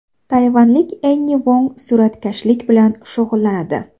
Tayvanlik Enni Vong suratkashlik bilan shug‘ullanadi.